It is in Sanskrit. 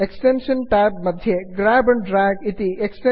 add ons manager add ons manager नूतनं ट्याब् मध्ये उद्घटते